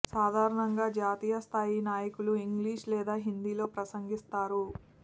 సాధారణంగా జాతీయ స్థాయి నాయకులు ఇంగ్లీష్ లేదా హిందీలో ప్రసంగిస్తారు